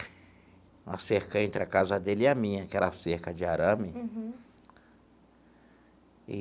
Uma cerca entre a casa dele e a minha, que era cerca de arame. Uhum.